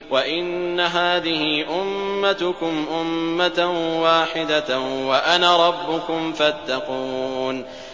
وَإِنَّ هَٰذِهِ أُمَّتُكُمْ أُمَّةً وَاحِدَةً وَأَنَا رَبُّكُمْ فَاتَّقُونِ